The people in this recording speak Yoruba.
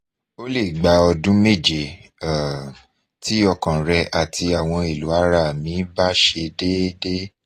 o le gba odun meje um ti okan re ati awon elo ara mi ba se dede